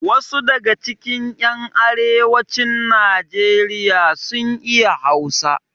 Wasu daga cikin yan arewacin nijeriya sun iya hausa